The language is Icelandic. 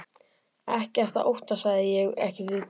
Ekkert að óttast sagði ég, ekki vitundarögn